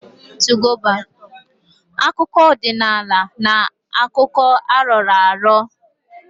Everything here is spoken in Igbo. Akụkọ ọdịnala na-abụ akụkọ a rọrọ arọ